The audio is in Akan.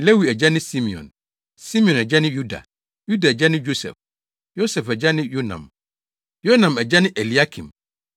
Lewi agya ne Simeon; Simeon agya ne Yuda; Yuda agya ne Yosef; Yosef agya ne Yonam; Yonam agya ne Eliakim;